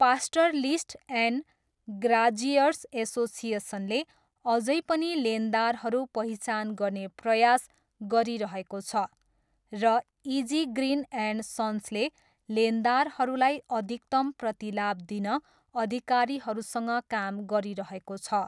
Pastoralist and graziers एसोसिएसनले अझै पनि लेनदारहरू पहिचान गर्ने प्रयास गरिरहेको छ र इजी ग्रिन एन्ड सन्सले लेनदारहरूलाई अधिकतम प्रतिलाभ दिन अधिकारीहरूसँग काम गरिरहेको छ।